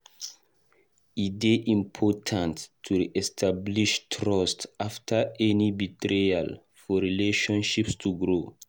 E dey important to re-establish trust after any betrayal for relationships to grow.